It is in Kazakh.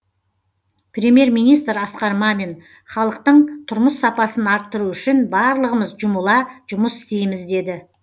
премьер министр асқар мамин халықтың тұрмыс сапасын арттыру үшін барлығымыз жұмыла жұмыс істейміз деді